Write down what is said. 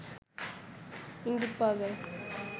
ইঙ্গিত পাওয়া যায়